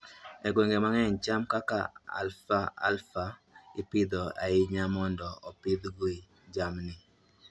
E gwenge mang'eny, cham kaka alfalfa ipidho ahinya mondo opidhgo jamni.